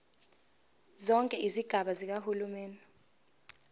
zonke izigaba zikahulumeni